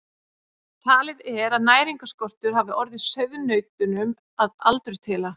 Talið er að næringarskortur hafi orðið sauðnautunum að aldurtila.